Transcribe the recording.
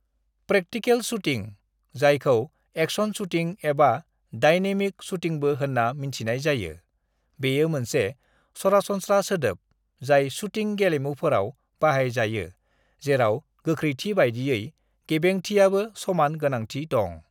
"Practical shooting, जायखौ action shooting एबा dynamic शूटिंबो होन्ना मिन्थिनाय जायो, बेयो मोनसे सरासनस्रा सोदोब जाय शूटिं गेलेमुफोराव बाहाय जायो जेराव गोख्रैथि बायदियै गेबेंथियाबो समान गोनांथि दं।"